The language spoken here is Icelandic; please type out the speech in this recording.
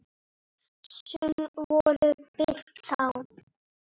Sum voru birt þá.